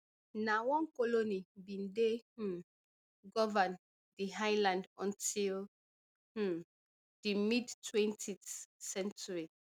na one colony bin dey um govern di island until um di mid-twentyth century